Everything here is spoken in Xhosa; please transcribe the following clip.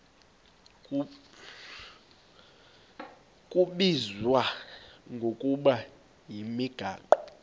kubizwa ngokuba yimigaqo